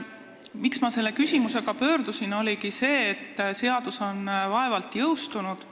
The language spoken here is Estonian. Põhjus, miks ma selle küsimusega teie poole pöördusin, oligi see, et seadus on vaevalt jõustunud,